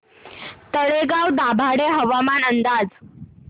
तळेगाव दाभाडे हवामान अंदाज